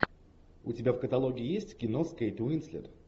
у тебя в каталоге есть кино с кейт уинслет